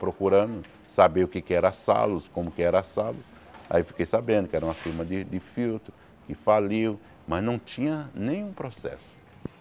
procurando, saber o que era a Salos, como que era a Salos, aí fiquei sabendo que era uma firma de de filtro, que faliu, mas não tinha nenhum processo.